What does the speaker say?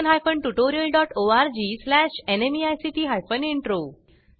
याट्यूटोरियल चे भाषांतर कविता साळवे यानी केले असून मी रंजना भांबळे आपला निरोप घेते